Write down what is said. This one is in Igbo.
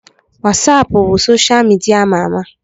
Wasapụ bụ soshal midia ama ama